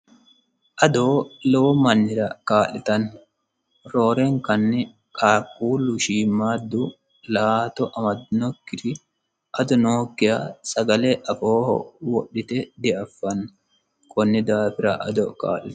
adoo lowo mannira kaa'litanni roorenkanni qaaquullu shiimmaaddu la''ato amadinokkiri ado nookkia sagale afooho wodhite diaffanno kunni daafira ado kaa'litanno.